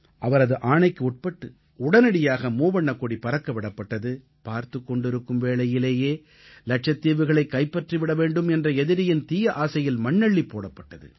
அவரது ஆணைக்கு உட்பட்டு உடனடியாக மூவண்ணக்கொடி பறக்க விடப்பட்டது பார்த்துக் கொண்டிருக்கும் வேளையிலேயே இலட்சத்தீவுகளைக் கைப்பற்றிவிட வேண்டும் என்ற எதிரியின் தீய ஆசையில் மண்ணள்ளிப் போடப்பட்டது